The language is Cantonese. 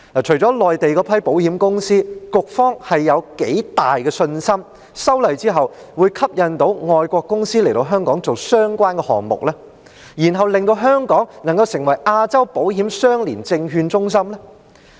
除了內地那批保險公司，局方有多大信心，在修例後外國的保險公司會被吸引到港進行相關的業務，令香港成為亞洲保險相連證券中心？